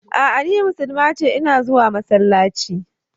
A'a ni musulma ce, ina zuwa masallaci.